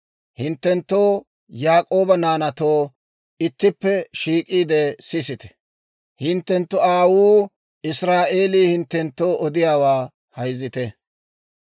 «Hinttenttoo Yaak'ooba naanaatoo, ittippe shiik'iide sisite; hinttenttu aawuu Israa'eelii hinttenttoo odiyaawaa hayzitte.